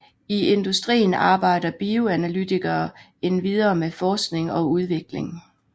I industrien arbejder bioanalytikere endvidere med forskning og udvikling